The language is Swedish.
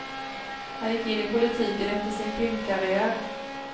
Han gick in i politiken efter sin filmkarriär.